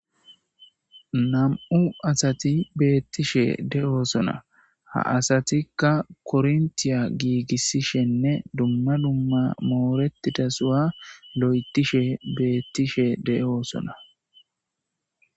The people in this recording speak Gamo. nam7u asati beettishe de7oosona ha asatikka korntiya giigissishenne dumma dumma mooretida suwa lo7etishe beettishe de7oosona